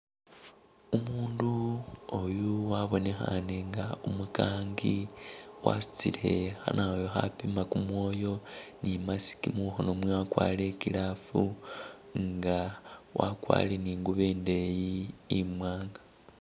Umundu oyu wabonekhane nga umukangi wasutile khanawoyu akhapima kumwoyo ne imask mukhono mwewe akwarire i'glove nga wakwarire ne ingubo indeyi imwanga.